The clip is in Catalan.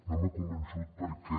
no m’ha convençut perquè